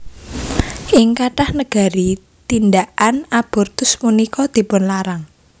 Ing kathah negari tindhakan abortus punika dipunlarang